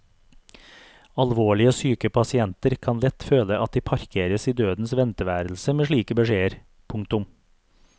Alvorlig syke pasienter kan lett føle at de parkeres i dødens venteværelse med slike beskjeder. punktum